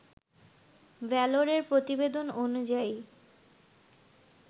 ভ্যালরের প্রতিবেদন অনুযায়ী